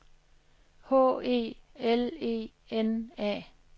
H E L E N A